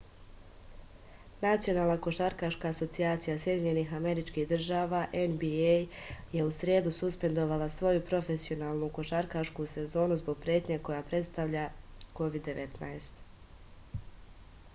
национална кошаркашка асоцијација сједињених америчких држава нба је у среду суспендовала своју професионалну кошаркашку сезону због претње коју представља covid-19